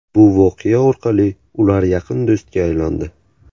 Bu voqea orqali ular yaqin do‘stga aylandi.